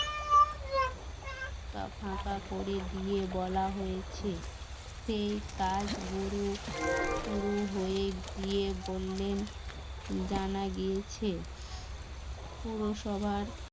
ফাঁকা ঘরে ফাঁকা করে দিয়ে বলা হয়েছে সেই কাজ গুরু শুরু হয়ে গিয়ে বললেন জানা গিয়েছে পুরসভার